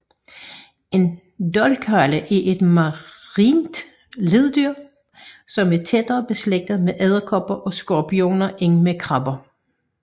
En dolkhale er et marint leddyr som er tættere beslægtet med edderkopper og skorpioner end med krabber